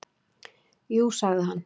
"""Jú, sagði hann."""